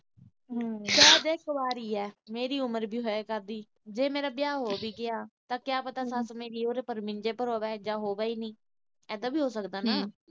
ਮੇਰੀ ਉਮਰ ਵੀ ਹੋਇਆ ਕਰਦੀ। ਜੇ ਮੇਰਾ ਵਿਆਹ ਹੋ ਗਿਆ ਠੀਕ ਆ, ਤਾਂ ਕਿਆ ਪਤਾ ਮੇਰੀ ਸੱਸ ਉਦੋਂ ਮੰਜੇ ਪਰ ਹੋਵੇ, ਜਾਂ ਹੋਵੇ ਈ ਨੀ। ਇਦਾਂ ਵੀ ਹੋ ਸਕਦਾ ਨਾ।